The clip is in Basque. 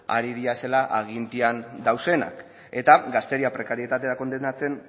ari direla agintean daudenak eta gazteria prekarietatera kondenatzen